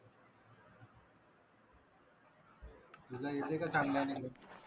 तुला येते का चांगल्याने मग